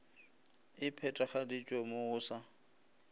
e phethagaditšwe mo go sa